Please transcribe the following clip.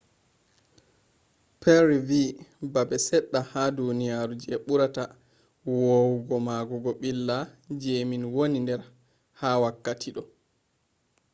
perry vi ‘don babe sedda ha duniyaru je burata wawugo magugo billa je min woni der ha wakkati do.